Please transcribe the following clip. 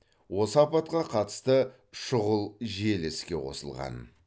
осы апатқа қатысты шұғыл желі іске қосылған